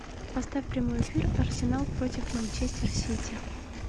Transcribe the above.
поставь прямой эфир арсенал против манчестер сити